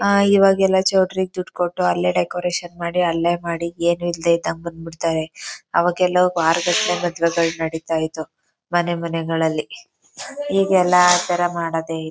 ಅಹ್ ಇವಾಗ್ ಎಲ್ಲಾ ಚೌಲ್ಟ್ರಿ ಗೆ ದುಡ್ಡು ಕೊಟ್ಟು ಅಲ್ಲೇ ಡೆಕೋರೇಷನ್ ಮಾಡಿ ಅಲ್ಲೇ ಮಾಡಿ ಏನು ಇಲ್ದಂಗೆ ಬಂದ್ಬಿಡ್ತಾರೆ. ಅವಾಗೆಲ್ಲ ಬಹಳ ಗದ್ದಲ ಗದ್ಲ ನಡೀತಾ ಮನೆ ಮನೆಗಳಲ್ಲಿ ಇತ್ತು ಈಗ ಆತರ ಮಾಡದೇ ಇಲ್ಲ.